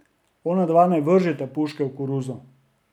Onadva ne vržeta puške v koruzo.